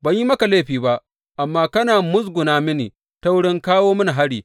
Ban yi maka laifi ba, amma kana musguna mini ta wurin kawo mini hari.